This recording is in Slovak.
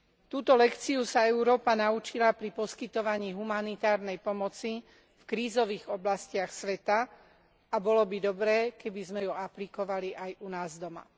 Túto lekciu sa Európa naučila pri poskytovaní humanitárnej pomoci v krízových oblastiach sveta a bolo by dobré, keby sme ju aplikovali aj u nás doma.